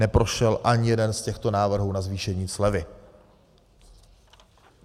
Neprošel ani jeden z těchto návrhů na zvýšení slevy.